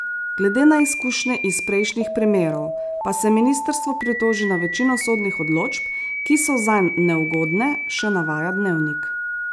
Glede na izkušnje iz prejšnjih primerov pa se ministrstvo pritoži na večino sodnih odločb, ki so zanj neugodne, še navaja Dnevnik.